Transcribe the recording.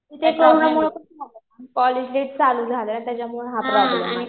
ते कोरोनामुळं college late चालू झालं. त्याच्यामुळं हा प्रॉब्लेम आला.